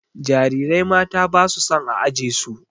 Jarirai mata ba su son a aje su.